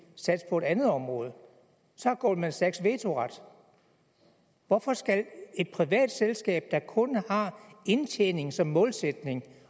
satse på et andet område så har goldman sachs vetoret hvorfor skal et privat selskab der kun har indtjening som målsætning